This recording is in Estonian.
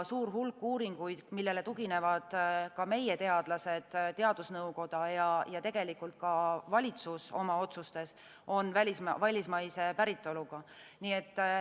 Suur hulk uuringuid, millele tuginevad ka meie teadlased, teadusnõukoda ja valitsus oma otsustes, on välismaise päritoluga.